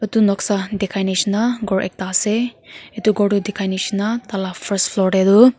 etu nokasa dekhai nishna khor ekada asa etu khortu dekhai nishna thaila first floor tey do .